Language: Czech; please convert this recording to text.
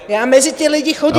Já mezi ty lidi chodím.